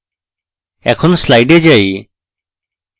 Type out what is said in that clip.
এখন slides যাই